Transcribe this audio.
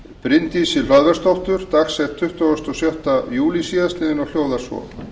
bryndísi hlöðversdóttur dagsett tuttugasta og sjötta júlí síðastliðinn og hljóðar svo